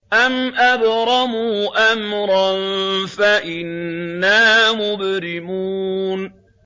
أَمْ أَبْرَمُوا أَمْرًا فَإِنَّا مُبْرِمُونَ